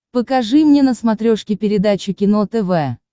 покажи мне на смотрешке передачу кино тв